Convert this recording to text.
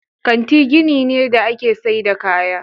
Kanti gini ne da ake saida kaya.